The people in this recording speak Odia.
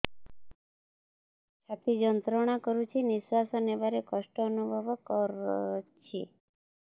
ଛାତି ଯନ୍ତ୍ରଣା କରୁଛି ନିଶ୍ୱାସ ନେବାରେ କଷ୍ଟ ଅନୁଭବ କରୁଛି